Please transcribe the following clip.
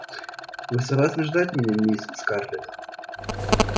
вы согласны ждать меня мисс скарлетт